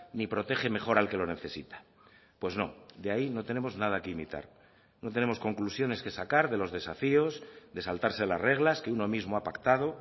ni protege mejor al que lo necesita pues no de ahí no tenemos nada que imitar no tenemos conclusiones que sacar de los desafíos de saltarse las reglas que uno mismo ha pactado